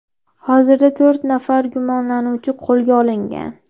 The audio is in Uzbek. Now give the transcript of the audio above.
Hozirda to‘rt nafar gumonlanuvchi qo‘lga olingan.